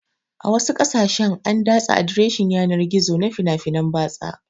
A wasu ƙasashen an datse adireshin yanar gizo na fina-finan batsa